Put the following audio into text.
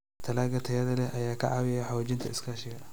Dalagga tayada leh ayaa ka caawiya xoojinta iskaashiga.